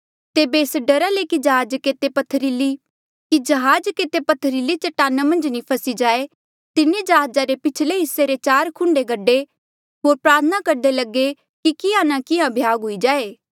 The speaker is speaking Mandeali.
तेबे एस डरा ले कि जहाज केते पत्थरीली चटाना मन्झ नी फसी जाए तिन्हें जहाजा रे पिछले हिस्से रे चार खुंडे गडे होर प्रार्थना करदे लगे कि किहाँ नी किहाँ भ्याग हुई जाए